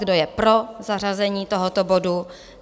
Kdo je pro zařazení tohoto bodu?